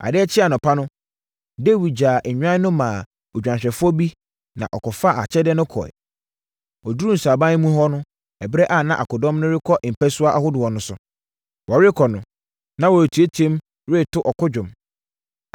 Adeɛ kyee anɔpa no, Dawid gyaa nnwan no maa odwanhwɛfoɔ bi na ɔfaa akyɛdeɛ no kɔeɛ. Ɔduruu sraban mu hɔ ɛberɛ a na akodɔm no rekɔ mpasua ahodoɔ no so. Wɔrekɔ no, na wɔreteam reto ɔko nnwom.